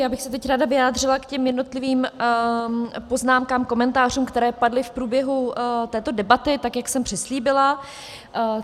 Já bych se teď ráda vyjádřila k těm jednotlivým poznámkám, komentářům, které padly v průběhu této debaty, tak jak jsem přislíbila.